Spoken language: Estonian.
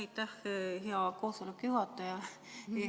Aitäh, hea koosoleku juhataja!